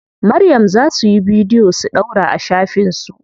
Maryam za suyi bidiyo su ɗaura a shafin su.